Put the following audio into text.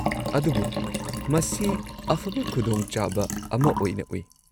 -ꯑꯗꯨꯕꯨ ꯃꯁꯤ ꯑꯐꯕ ꯈꯨꯗꯣꯡꯆꯥꯕ ꯑꯃ ꯑꯣꯏꯅ ꯎꯏ꯫